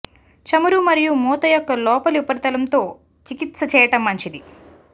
చమురు మరియు మూత యొక్క లోపలి ఉపరితలంతో చికిత్స చేయటం మంచిది